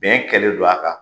Bɛn kɛlɛ don a kan